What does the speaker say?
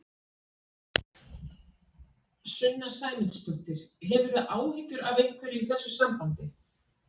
Sunna Sæmundsdóttir: Hefurðu áhyggjur af einhverju í þessu sambandi?